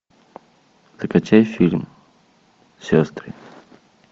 закачай фильм сестры